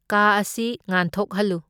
ꯀꯥ ꯑꯁꯤ ꯉꯥꯟꯊꯣꯛꯍꯜꯂꯨ꯫